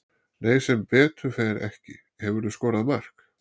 Nei sem betur fer ekki Hefurðu skorað mark?